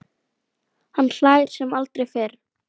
Hann hlær sem aldrei fyrr.